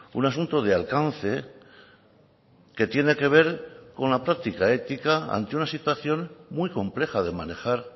un asunto de alcance que tiene que ver con la práctica ética ante una situación muy compleja de manejar